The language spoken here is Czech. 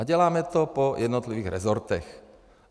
A děláme to po jednotlivých rezortech.